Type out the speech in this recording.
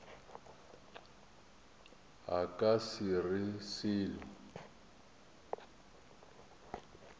a ka se re selo